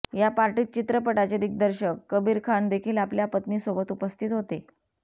या पार्टीत चित्रपटाचे दिग्दर्शक कबीर खान देखील आपल्या पत्नीसोबत उपस्थित होते